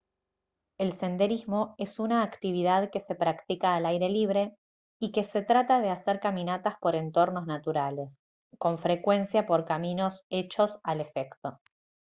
el senderismo es una actividad que se practica al aire libre y que se trata de hacer caminatas por entornos naturales con frecuencia por caminos hechos al efecto